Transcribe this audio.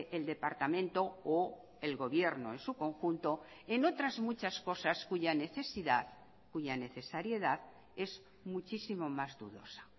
el departamento o el gobierno en su conjunto en otras muchas cosas cuya necesidad cuya necesariedad es muchísimo más dudosa